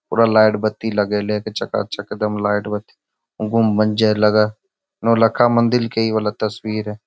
पूरा लाइट - बत्ती लगइले चकाचक एकदम लाइट - बत्ती गुम मंजर लगा नौलखा मंदिर के इ वाला तस्वीर है ।